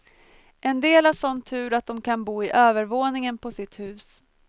En del har sådan tur att de kan bo i övervåningen på sitt hus.